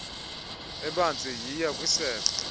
ebanzi yiya kwisebe